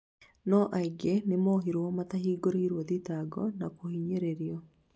No aingĩ nĩmohirwo matahingũrĩirwo thitango na kũhinyĩrĩrio